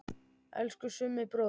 Elsku Summi bróðir.